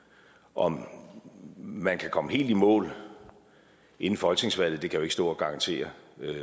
om man kan komme helt i mål inden folketingsvalget jo ikke stå og garantere